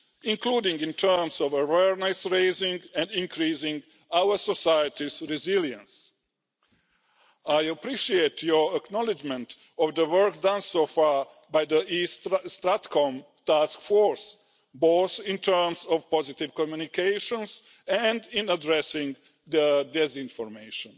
including in terms of awareness raising and increasing our society's resilience. I appreciate your acknowledgment of the work done so far by the East StratCom Task Force, both in terms of positive communications and in addressing disinformation.